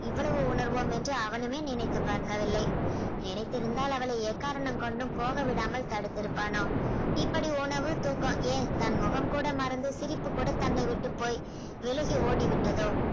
இவ்வளவு உணர்வோம் என்று அவனுமே நினைத்து பார்க்கவில்லை நினைத்திருந்தால் அவளை எக்காரணம் கொண்டு போக விடாமல் தடுத்து இருப்பானாம் இப்படி உணவு தூக்கம் ஏன் தன் முகம் கூட மறந்து சிரிப்பு கூட தன்னை விட்டுப் போய் விலகி ஓடிவிட்டதோ